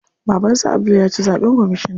Baban su Abdul ya ci zaɓen kwamishina.